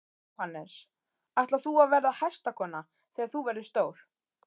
Jóhannes: Ætlar þú að verða hestakona þegar þú verður stór?